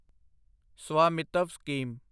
Svamitva scheme